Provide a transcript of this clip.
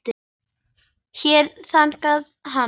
Hér þagnaði hann.